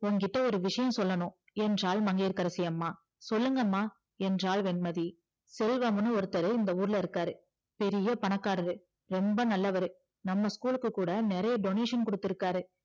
உன்கிட்ட ஒரு விஷயம் சொல்லணும் என்றால் மங்கையகரசி அம்மா சொல்லுங்க அம்மா என்றால் வெண்மதி செல்வம்னு ஒருத்தரு இந்த ஊருல இருக்காரு பெரிய பணக்காரரு ரொம்ப நல்லவரு நம்ம school லுக்கு கூட நிறைய donation குடுத்து இருக்காரு